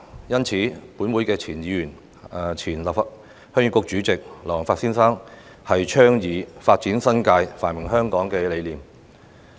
因此，本會前議員及前鄉議局主席劉皇發先生，便倡議"發展新界，繁榮香港"的理念。